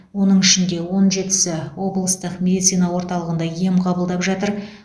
оның ішінде он жетісі облыстық медицина орталығында ем қабылдап жатыр